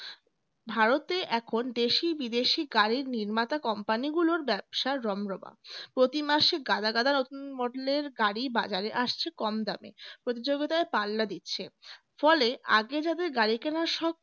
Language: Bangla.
ভারতে এখন দেশি-বিদেশি গাড়ির নির্মাতা কোম্পানিগুলোর ব্যবসার রমরমা, প্রতিমাসে গালাগাদা নতুন model এর গাড়ি বাজারে আসছে কম দামে প্রতিযোগিতায় পাল্লা দিচ্ছে ফলে আগে যাদের গাড়ি কেনার শখ